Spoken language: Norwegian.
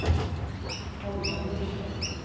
Hallvard Gjerstad